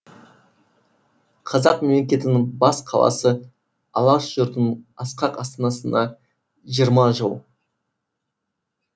қазақ мемлекетінің бас қаласы алаш жұртының асқақ астанасына жиырма жыл